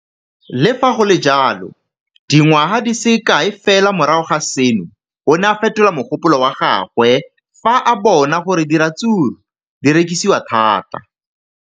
Le fa go le jalo, dingwaga di se kae fela morago ga seno, o ne a fetola mogopolo wa gagwe fa a bona gore diratsuru di rekisiwa thata.